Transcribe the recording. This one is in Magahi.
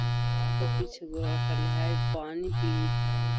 उ आगे पीछे घूरा करले हेय पानी पी हेय।